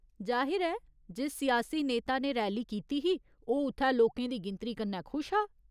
जाहिर ऐ, जिस सियासी नेता ने रैली कीती ही, ओह् उत्थै लोकें दी गिनतरी कन्नै खुश हा।